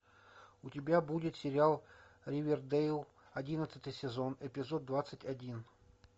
у тебя будет сериал ривердейл одиннадцатый сезон эризод двадцать один